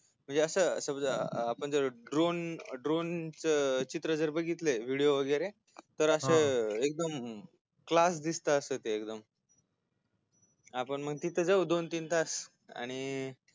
म्हणजे अस सगळ आपण ड्रोन ड्रोन चित्र जर बघितल व्हिडियो वैगरे हा एकदम अस क्लास दिसत अस ते आपण मग तिथ जाऊ दोन तीन तास आणि